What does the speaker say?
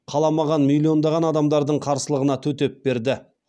қаламаған миллиондаған адамдардың қарсылығына төтеп берді